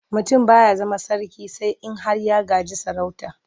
Mutum ba ya zama sarki sai in har ya gaji sarauta.